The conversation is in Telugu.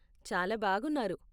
చాలా బాగున్నారు.